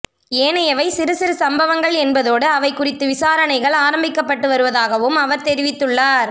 ஏனையவை சிறு சிறு சம்பவங்கள் என்பதோடு அவை குறித்து விசாரணைகள் ஆரம்பிக்கப்பட்டு வருவதாகவும் அவர் தெரிவித்துள்ளார்